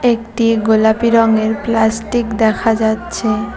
একটি গোলাপী রঙের প্লাস্টিক দেখা যাচ্ছে।